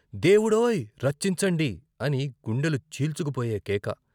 దేవుడోయ్ రచ్చించండి అని గుండెలు చీల్చుకుపోయే కేక.